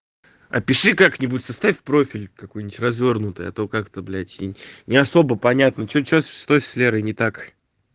опиши как-нибудь составь профиль какой-нибудь развёрнутый а то как-то блядь не особо понятно что что что с лерой не так